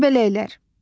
Göbələklər.